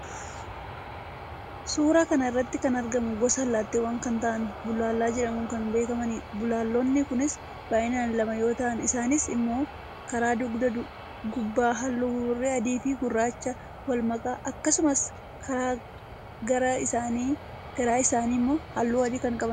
suuraa kana irratti kan argaman gosa allaattiiwwanii kan ta'an bullaallaa jedhamuun kan beekamanidha. bullaallonni kunis baay'inaan lama yoo ta'an isaanis immoo karaa dugda gubbaa halluu buburree adiifi gurraacha walmakaa akkasumas karaa garaa isaanii immoo halluu adii kan qabanidha.